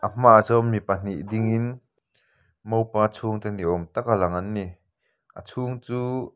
a hmaah chuan mi pahnih dingin mopa chhungte ni awm taka lang an ni a chhung chu --